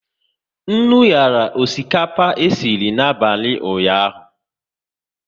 Nnu nyara osikapa esiri n'abalị ụnyaahụ